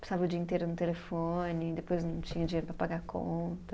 Passava o dia inteiro no telefone, depois não tinha dinheiro para pagar conta.